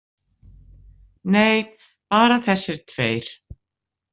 Nei, bara þessir tveir.